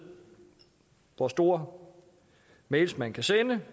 hvor store mails man kan sende